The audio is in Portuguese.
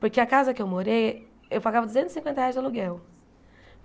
Porque a casa que eu morei, eu pagava duzentos e cinquenta reais de aluguel.